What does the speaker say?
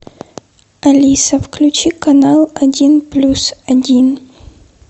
алиса включи канал один плюс один